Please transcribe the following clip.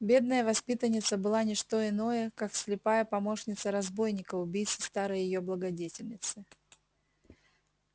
бедная воспитанница была не что иное как слепая помощница разбойника убийцы старой её благодетельницы